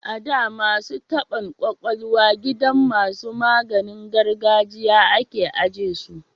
A da, masu taban kwakwalwa gidan masu maganin gargajiya a ke ajiye su